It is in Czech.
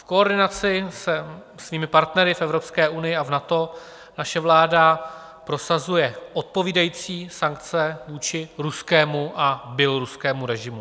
V koordinaci se svými partnery v Evropské unii a v NATO naše vláda prosazuje odpovídající sankce vůči ruskému a běloruskému režimu.